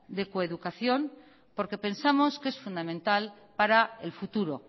de coeducación porque pensamos que es fundamental para el futuro